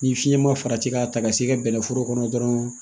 Ni fiɲɛ ma farati k'a ta ka se i ka bɛnɛforo kɔnɔ dɔrɔn